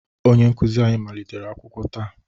Onye nkuzi anyị malitere akwụkwọ taa